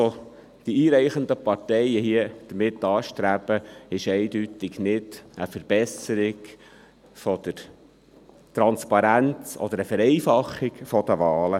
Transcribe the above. Was die einreichenden Parteien damit anstreben, ist eindeutig keine Verbesserung der Transparenz oder eine Vereinfachung der Wahlen.